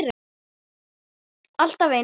Alltaf eins!